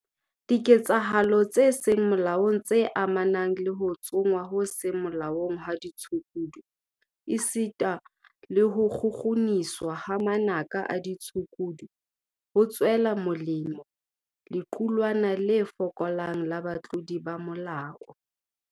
Diketsahalo tse seng molaong tse amanang le ho tsongwa ho seng molaong ha ditshukudu esita le ho kgukguniswa hwa manaka a ditshukudu, ho tswela molemo lequlwana le fokolang la batlodi ba molao.